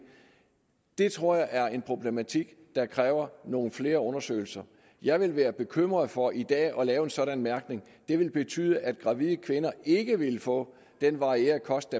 det tror jeg er en problematik der kræver nogle flere undersøgelser jeg ville være bekymret for i dag at lave en sådan mærkning det ville betyde at gravide kvinder ikke ville få den varierede kost